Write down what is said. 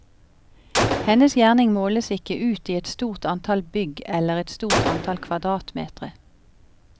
Hennes gjerning måles ikke ut i et stort antall bygg eller et stort antall kvadratmetre.